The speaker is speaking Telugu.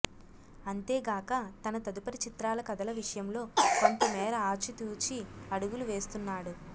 అంతేగాక తన తదుపరి చిత్రాల కథల విషయంలో కొంతమేర ఆచితూచి అడుగులు వేస్తున్నాడు